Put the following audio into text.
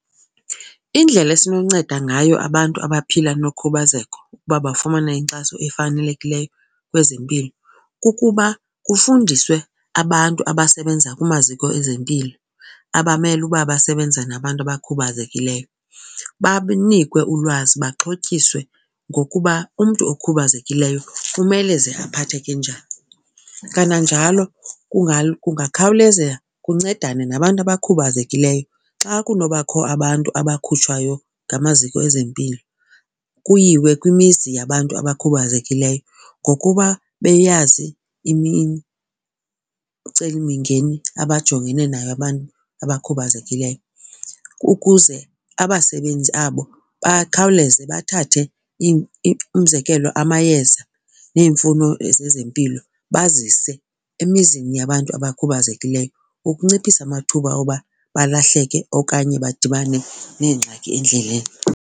Indlela esinonceda ngayo abantu abaphila nokhubazek uba bafumane inkxaso efanelekileyo kwezempilo kukuba kufundiswe abantu abasebenza kumaziko ezempilo abamele uba basebenza nabantu abakhubazekileyo, banikwe ulwazi baxhotyiswe ngokuba umntu okhubazekileyo kumele ze aphatheke njani. Kananjalo kungakhawuleza kuncedane nabantu abakhubazekileyo xa kunobakho abantu abakhutshwayo ngamaziko ezempilo kuyiwe kwimizi yabantu abakhubazekileyo ngokuba beyazi imicilimingeni abajongene nayo abantu abakhubazekileyo. Ukuze abasebenzi abo bakhawuleze bathathe umzekelo amayeza neemfuno zezempilo bazise emizini yabantu abakhubazekileyo ukunciphisa amathuba oba balahleke okanye badibane neengxaki endleleni.